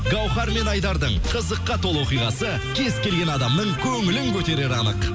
гауһар мен айдардың қызыққа толы оқиғасы кез келген адамның көңілін көтерері анық